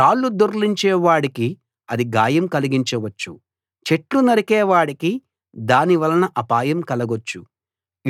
రాళ్లు దొర్లించే వాడికి అది గాయం కలిగించవచ్చు చెట్లు నరికే వాడికి దానివలన అపాయం కలగొచ్చు